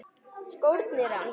Skórnir hans.